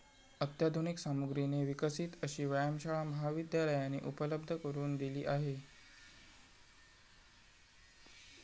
अत्याधुनिक सामुग्रीने विकसित अशी व्यायामशाळा महाविद्यालयाने उपलब्ध करून दिली आहे.